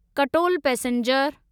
Katol passenger